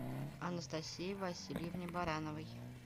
анастасии васильевне барановой